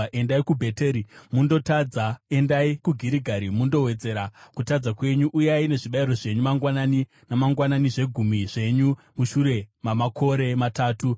“Endai kuBheteri mundotadza; endai kuGirigari mundowedzera kutadza kwenyu. Uyai nezvibayiro zvenyu mangwanani namangwanani, zvegumi zvenyu mushure mamakore matatu.